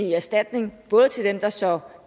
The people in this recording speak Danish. i erstatning til dem der så